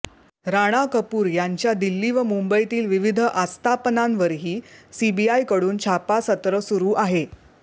राणा कपूर यांच्या दिल्ली व मुंबईतील विविध आस्थापनांवरही सीबीआयकडून छापासत्र सुरू आहे